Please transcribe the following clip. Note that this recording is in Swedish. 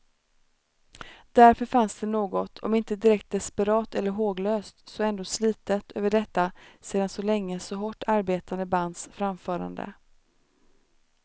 Därför fanns det något om inte direkt desperat eller håglöst så ändå slitet över detta sedan så länge så hårt arbetande bands framförande.